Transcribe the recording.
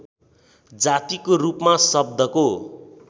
जातिको रूपमा शब्दको